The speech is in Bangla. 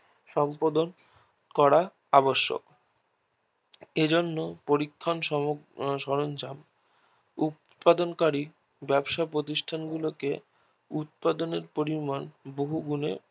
সম্পাদন করা আবশ্যক এজন্য পরীক্ষণ সরঞ্জাম উৎপাদন কারীর ব্যাবসা প্রতিষ্ঠান গুলোকে উৎপাদন এর পরিমাণ বহু গুনে বাড়াতে হবে